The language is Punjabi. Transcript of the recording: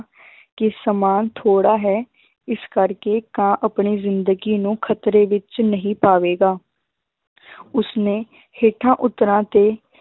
ਕਿ ਸਮਾਂ ਥੋੜ੍ਹਾ ਹੈ ਇਸ ਕਰਕੇ ਕਾਂ ਆਪਣੀ ਜ਼ਿੰਦਗੀ ਨੂੰ ਖ਼ਤਰੇ ਵਿੱਚ ਨਹੀਂ ਪਾਵੇਗਾ ਉਸਨੇ ਹੇਠਾਂ ਉਤਰਾਂ ਤੇ